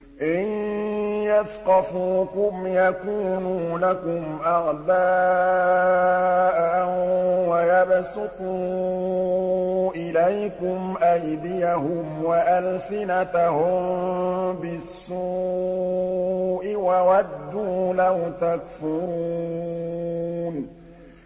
إِن يَثْقَفُوكُمْ يَكُونُوا لَكُمْ أَعْدَاءً وَيَبْسُطُوا إِلَيْكُمْ أَيْدِيَهُمْ وَأَلْسِنَتَهُم بِالسُّوءِ وَوَدُّوا لَوْ تَكْفُرُونَ